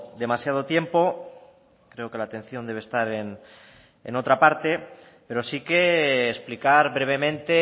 demasiado tiempo creo que la atención debe estar en otra parte pero sí que explicar brevemente